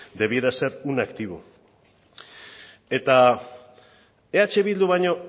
debiera ser un activo eta eh bildu baino